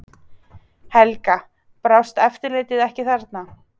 Helga: Brást eftirlitið ekki þarna?